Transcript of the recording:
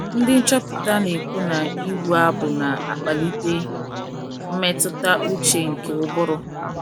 Ndị nchọpụta na - ekwu na ịbụ abụ na - akpalite “ mmetụta ụche ” nke ụbụrụ.